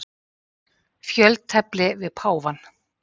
Fjöltefli við páfann.